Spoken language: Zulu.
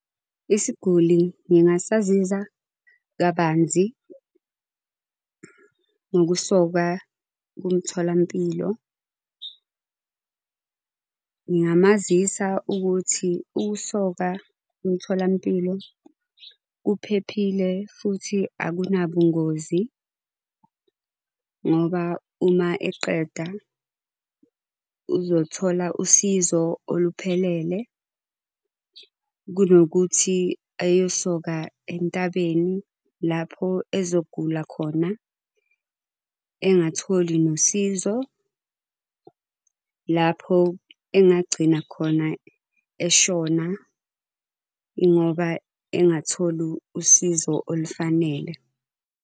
Isiguli ngingasazisa kabanzi ngokusokwa kumtholampilo. Ngingamazisa ukuthi ukusoka kumtholampilo kuphephile futhi akunabungozi, ngoba uma eqeda uzothola usizo oluphelele. Kunokuthi eyosoka entabeni lapho ezogula khona, engatholi nosizo lapho engagcina khona eshona ingoba engatholi usizo olufanele.